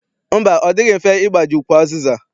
Mba, ọ dịghị mfe ịgbaji ukwu azịza.